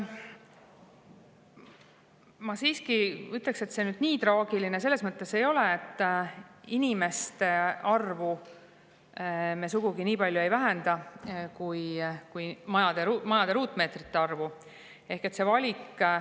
Ma siiski ütleksin, et nii traagiline see ei ole selles mõttes, et me inimeste arvu sugugi nii palju ei vähenda kui majade ruutmeetrite arvu.